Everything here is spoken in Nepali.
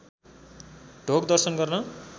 ढोग दर्शन गर्न